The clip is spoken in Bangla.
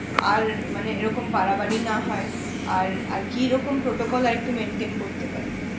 আর মানে এরকম বাড়াবাড়ি না হয় আর আর কিরকম করতে পারি